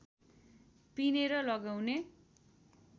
पिनेर लगाउनाले